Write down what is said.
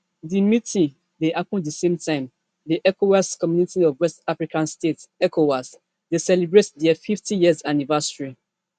di meeting dey happun di same time di economic community of west african states ecowas dey celebrate dia fiftyyears anniversary